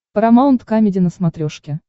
парамаунт камеди на смотрешке